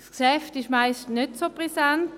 Das Geschäft ist nicht sehr brisant.